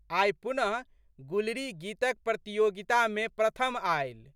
आइ पुनः गुलरी गीतक प्रतियोगितामे प्रथम आयलि।